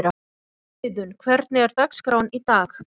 Auðun, hvernig er dagskráin í dag?